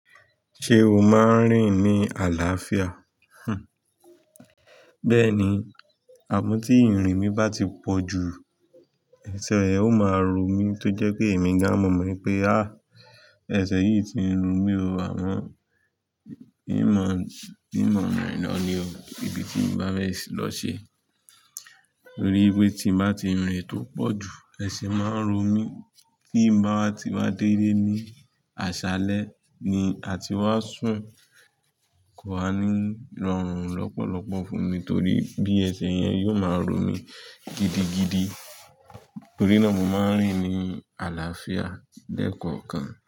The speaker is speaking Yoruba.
Ṣé o máa ń rìn ní àlàáfíà? Bẹ́ẹ̀ni, àmọ́ tí ìrìn mi bá ti pọ̀ ju, ẹsẹ̀ yẹn ó máa ro mí tó jẹ́ pé èmi gan mọ̀ mọ́ pé, "àh! Ẹsẹ̀ yìí ti ń ro mi o, àmọ́ imo rìn lọ ní o, ibi tí mo bá lọ ṣe." Torí pé tí mo bá ti rìn tó pọ̀ ju, ẹsẹ̀ máa ń ro mí. Tí mo bá ti wá dé ní aṣálẹ́ ni a ti wá sùn, kò wá ní rọrùn lọ́pọ̀lọpọ̀ fún mi torí bí ẹsẹ̀ yẹn yóò máa ro mi gidigidi. Torí náà mo máa ń rìn ní àlàáfíà lẹ́kọọ́kàn.